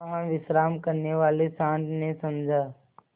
वहाँ विश्राम करने वाले सॉँड़ ने समझा